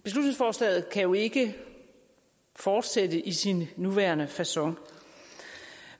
kan beslutningsforslaget jo ikke fortsætte i sin nuværende facon